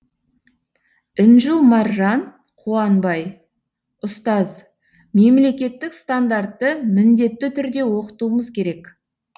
інжу маржан қуанбай ұстаз мемлекеттік стандартты міндетті түрде оқытуымыз керек